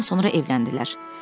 Bir ildən sonra evləndilər.